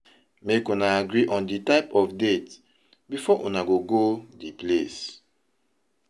Make una agree on di type of date before una go go di place